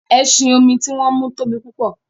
ẹṣin-omi ti wón mú tóbi púpọ.